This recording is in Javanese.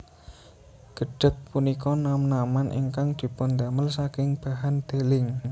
Gedhèg punika nam naman ingkang dipundamel saking bahan deling